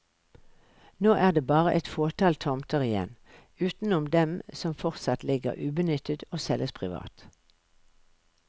Nå er det bare et fåtall tomter igjen, utenom dem som fortsatt ligger ubenyttet og selges privat.